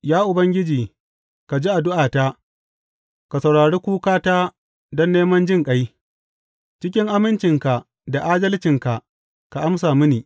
Ya Ubangiji, ka ji addu’ata, ka saurari kukata don neman jinƙai; cikin amincinka da adalcinka ka amsa mini.